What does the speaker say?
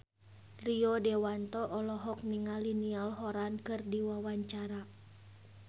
Rio Dewanto olohok ningali Niall Horran keur diwawancara